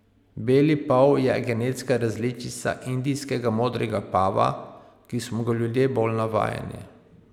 Beli pav je genetska različica indijskega modrega pava, ki smo ga ljudje bolj navajeni.